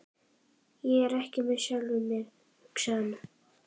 Ég er ekki með sjálfum mér, hugsaði hann.